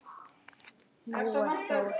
Nú er það of seint.